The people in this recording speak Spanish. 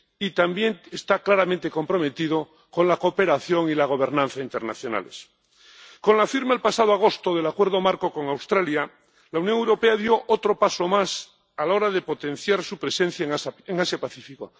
Y también está claramente comprometido con la cooperación y la gobernanza internacionales. Con la firma el pasado agosto del Acuerdo Marco con Australia, la Unión Europea dio otro paso más a la hora de potenciar su presencia en Asia Pacífico.